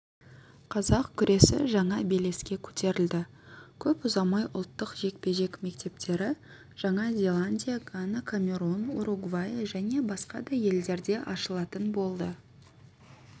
қазақ күресі жаңа белеске көтерілді көп ұзамай ұлттық жекпе-жек мектептері жаңа зеландия гана камерун уругвай және басқа да елдерде ашылатын болады